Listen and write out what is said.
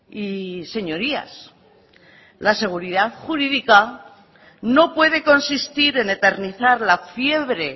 y señorías la seguridad jurídica no puede consistir en eternizar la fiebre